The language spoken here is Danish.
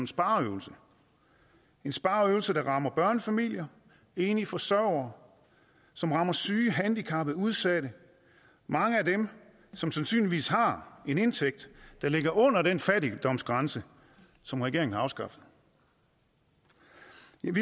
spareøvelse en spareøvelse der rammer børnefamilier enlige forsørgere som rammer syge handicappede udsatte mange af dem som sandsynligvis har en indtægt der ligger under den fattigdomsgrænse som regeringen har afskaffet vi